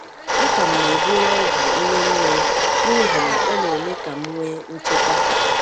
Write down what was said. A ka m na-eburu ogwù nne nne m n’ihi na ọ na-eme ka m nwee nchekwà.